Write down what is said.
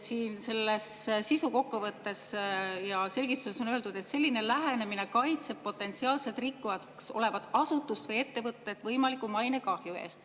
Siin, selles sisukokkuvõttes ja selgituses on öeldud, et selline lähenemine kaitseb potentsiaalselt rikkujaks olevat asutust või ettevõtet võimaliku mainekahju eest.